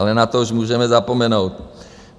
Ale na to už můžeme zapomenout.